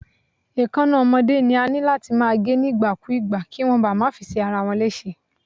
Èkáná ọmọdé ni a níláti máa gé ní ìgbà kú ìgbà, kíwón máa ba fi ṣe ara wọn léṣe.